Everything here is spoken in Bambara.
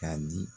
K'a di